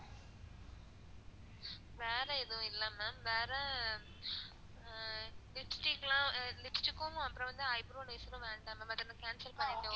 வேற எதுவும் இல்ல ma'am. வேற அஹ் lipstick லாம் lipstick ம் அப்பறம் eyebrow eraser ம் வேண்டாம் ma'am அத நீங்க cancel பண்ணிக்கோங்க.